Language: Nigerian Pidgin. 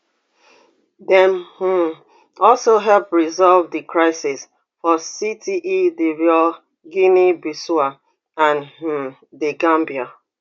dem um also help resolve di crises for cte divoire guineabissau and um the gambia